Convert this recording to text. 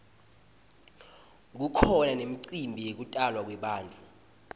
kukhona nemicimbi yekutalwa kwebantfu